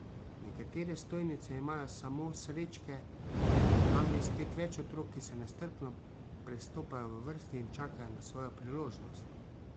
Nekatere stojnice imajo samo srečke, tam je spet več otrok, ki se nestrpno prestopajo v vrsti in čakajo na svojo priložnost.